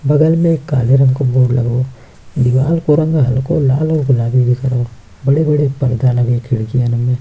बगल में एक काले रंग को बोर्ड लगाओ दीवार को रंग हलको लाल और गुलाबी भी करो बड़े-बड़े पर्दा लगे खिड़कियों में --